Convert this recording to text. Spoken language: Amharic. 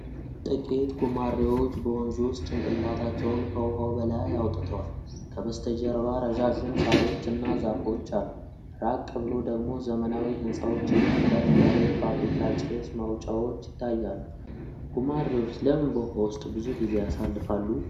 ጥቂት ጉማሬዎች በወንዝ ውስጥ ጭንቅላታቸውን ከውሃው በላይ አውጥተዋል። ከበስተጀርባ ረዣዥም ሣሮች እና ዛፎች አሉ፣ ራቅ ብሎ ደግሞ ዘመናዊ ሕንፃዎች እና ከፍ ያለ የፋብሪካ ጭስ ማውጫዎች ይታያሉ። ጉማሬዎች ለምን በውሃ ውስጥ ብዙ ጊዜ ያሳልፋሉ?